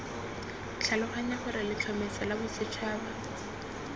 tlhaloganya gore letlhomeso la bosetšhaba